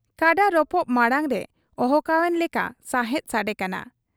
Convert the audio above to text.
ᱠᱟᱰᱟ ᱨᱚᱯᱚᱜ ᱢᱟᱬᱟᱝ ᱨᱮ ᱚᱦᱠᱟᱣᱮᱱ ᱞᱮᱠᱟ ᱥᱟᱸᱦᱮᱫ ᱥᱟᱰᱮ ᱟᱠᱟᱱᱟ ᱾